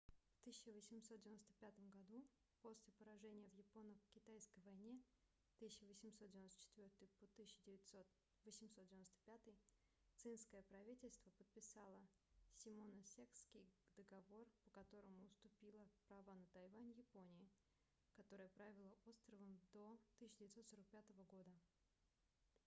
в 1895 году после поражения в японо-китайской войне 1894-1895 цинское правительство подписало симоносекский договор по которому уступило права на тайвань японии которая правила островом до 1945 года